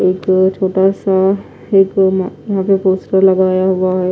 ऊपर छोटा सा ये पूमा नीचे पोस्टर लगाया हुआ है।